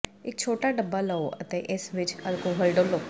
ਇੱਕ ਛੋਟਾ ਡੱਬਾ ਲਓ ਅਤੇ ਇਸ ਵਿੱਚ ਅਲਕੋਹਲ ਡੋਲ੍ਹੋ